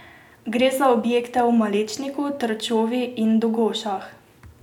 Gre za objekte v Malečniku, Trčovi in Dogošah.